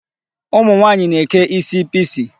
Ụmụ nwaanyị na-eke isi pixie.